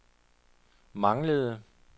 manglede